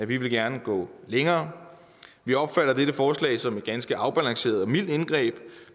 vi ville gerne gå længere vi opfatter dette forslag som et ganske afbalanceret og mildt indgreb